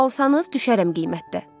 Alsaz düşərəm qiymətdə.